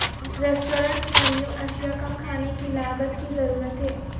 restaurant menu اشیاء کم کھانے کی لاگت کی ضرورت ہے